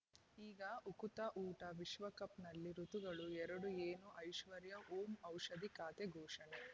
ಈಗ ಉಕುತ ಊಟ ವಿಶ್ವಕಪ್‌ನಲ್ಲಿ ಋತುಗಳು ಎರಡು ಏನು ಐಶ್ವರ್ಯಾ ಓಂ ಔಷಧಿ ಖಾತೆ ಘೋಷಣೆ